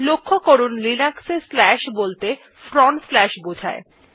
লক্ষ্য করুন লিনাক্স এ slash বলতে ফ্রন্ট স্লাশ বোঝায়